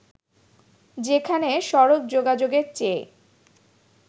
যেখানে সড়ক যোগাযোগের চেয়ে